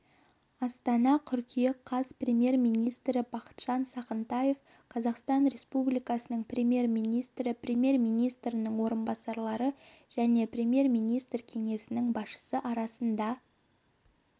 астана қыркүйек қаз премьер-министрі бақытжан сағынтаев қазақстан республикасының премьер-министрі премьер-министрінің орынбасарлары және премьер-министрі кеңсесінің басшысы арасында